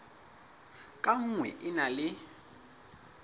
ka nngwe e na le